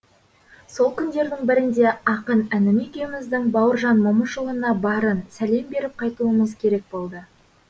сол күндердің бірінде ақын інім екеуміздің бауыржан момышұлына барын сәлем беріп қайтуымыз керек болды